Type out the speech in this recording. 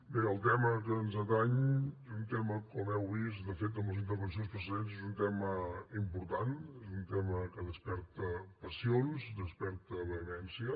bé el tema que ens ateny és un tema com heu vist de fet en les intervencions precedents important és un tema que desperta passions desperta vehemència